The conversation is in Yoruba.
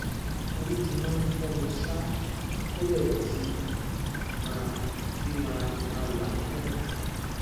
orí ti máa ń fọ mí ṣáá tó bẹẹ tí máà tí máà máa làágùn